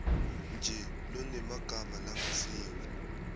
nje lonemagama langasiwo